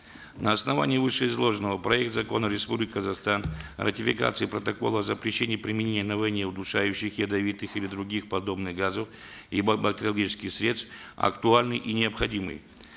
на основании вышеизложенного проект закона республики казахстан о ратификации протокола запрещения применения на войне удушающих ядовитых или других подобных газов и бактериологических средств актуальны и необходимы